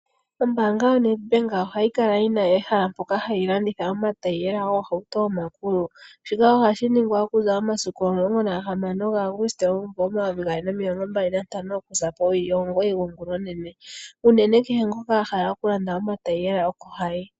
Ombaanga yaNedbank ohayi kala yi na ehala mpoka hayi landitha omatayiyela goohauto omakulu shika ohashi ningwa okuza momasiku 16 Auguste 2025 okuza po 09h00 gongula onene, unene kehe ngoka a hala oku landa omatayiyela oko hayi.